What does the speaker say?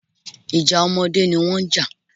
Ìjà ọmọdé ni wọ́n ń jà